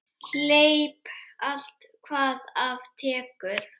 Hleyp allt hvað af tekur.